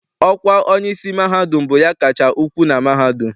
Ọkwa onyeisi mahadum bụ ya kacha ukwu na mahadum.